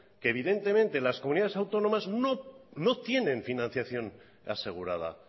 que evidentemente las comunidades autónomas no tienen financiación asegurada